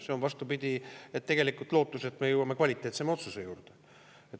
See on, vastupidi, tegelikult lootus, et me jõuame kvaliteetsema otsuseni.